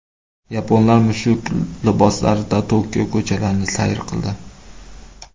Yaponlar mushuk liboslarida Tokio ko‘chalarini sayr qildi.